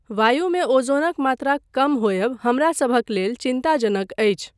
वायुमे ओज़ोनक मात्राक कम होयब हमरसभक लेल चिन्ताजनक अछि।